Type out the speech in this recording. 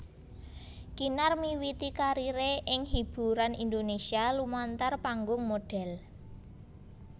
Kinar miwiti kariré ing hiburan Indonésia lumantar panggung modhél